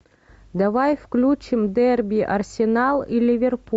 давай включим дерби арсенал и ливерпуль